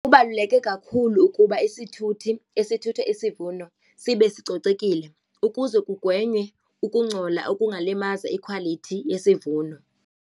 Kubaluleke kakhulu ukuba isithuthi esithutha isivuno sibe sicocekile ukuze kugwenywe ukungcola oku ungalimaza ikhwalithi yesivuno.